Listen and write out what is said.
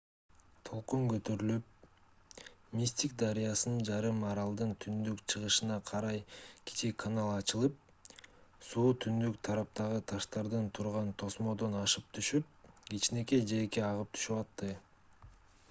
толкун көтөрүлүп мистик дарыясынан жарым аралдын түндүн-чыгышына карай кичи канал ачылып суу түндүк тараптагы таштардан турган тосмодон ашып түшүп кичинекей жээкке агып түшүп атты